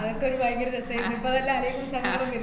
അതൊക്കെ ഒരു ഭയങ്കര രസായിരുന്നു. ഇപ്പ അതെല്ലാ ആലോചിക്കുമ്പോ സങ്കടം വരും.